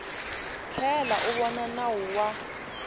tlhela u vona nawu wa